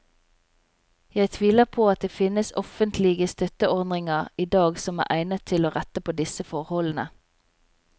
Jeg tviler på at det finnes offentlige støtteordninger i dag som er egnet til å rette på disse forholdene.